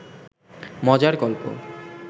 মজার গল্প